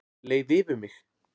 Leið yfir mig?